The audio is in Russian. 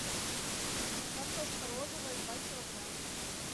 картошка розовая два килограмма